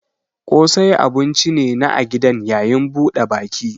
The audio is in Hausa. Ƙosai abun ci ne na a gidan yayin buɗe baki.